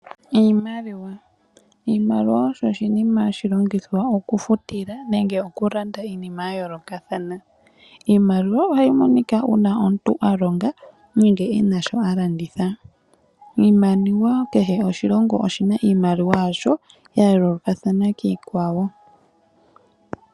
Iimaliwa oyo iinima mbyoka hatu longitha mongashingeyi okufutila nenge okulanda iinima ya yoolokathana. Ohayi monika uuna omuntu a longa nenge e na sho a landitha. Omaludhi giimaliwa oga yoolokathana koshilongo noshilongo.